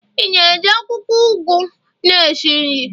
Ị na-eji akwụkwọ ugu na-esi nri?